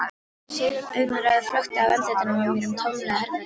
Augnaráðið flökti af andlitinu á mér um tómlegt herbergið.